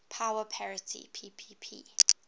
power parity ppp